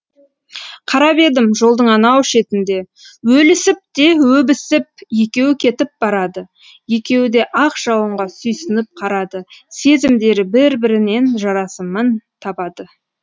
қарап едім жолдың анау шетінде өлісіп те өбісіп екеу кетіп барады екеуі де ақ жауынға сүйсініп қарады сезімдері бір бірінен жарасымын табады